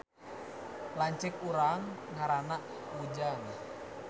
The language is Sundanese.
Lanceuk urang ngaranna Ujang